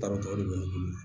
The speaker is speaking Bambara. Tabatɔ de be ne bolo